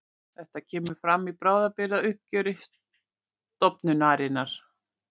Þetta kemur fram í bráðabirgðauppgjöri stofnunarinnar